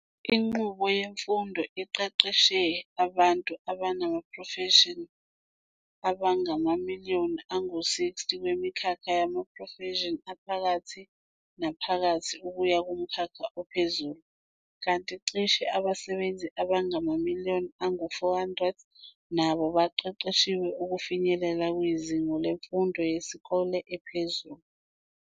Inqubo yemfundo iqeqeshe abantu abanamaprofeshini abangamamliyoni angu 60 kwimikhakha yamaprofeshini aphakathi-naphakathi ukuya kumkhakha ophezulu, kanti cishe abasebenzi abangamamiliyoni angu 400 nabo baqeqeshiwe ukufinyelela kwizinga lemfundo yesikole ephezulu.